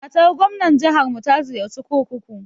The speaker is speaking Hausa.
Matar gwamnar jiharmu ta ziyarci kurkuku.